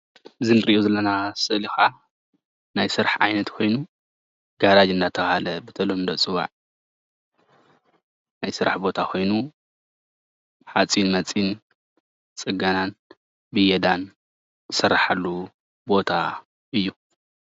እዚ እንሪኦ ዘለና ስእሊ ከዓ ናይ ስራሕ ዓይነት ኮይኑ ጋራጅ እናተባሃለ ብተለምዶ ዝፅዋዕ ናይ ስራሕ ቦታ ኮይኑ ሓፂን መፂን፣ ፅገናን ብየዳን ዝስራሓሉ ቦታ እዩ፡፡